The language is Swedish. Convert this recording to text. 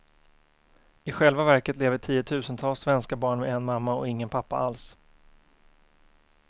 I själva verket lever tiotusentals svenska barn med en mamma och ingen pappa alls.